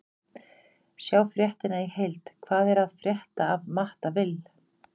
Sjá fréttina í heild: Hvað er að frétta af Matta Vill?